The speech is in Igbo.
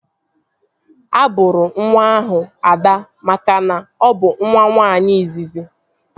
A bụrụ nwa ahụ Ada makana ọ bụ nwa nwaanyị izizi